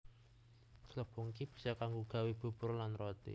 Glepung iki bisa kanggo gawé bubur lan roti